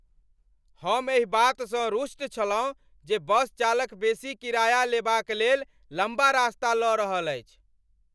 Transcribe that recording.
हम एहि बातसँ रुष्ट छलहुँ जे बस चालक बेसी किराया लेबाक लेल लम्बा रास्ता लऽ रहल छल।